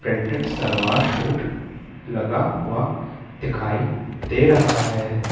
Printed salwar suit लगा हुआ दिखाई दे रहा हैं।